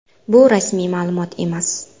Bu rasmiy ma’lumot emas.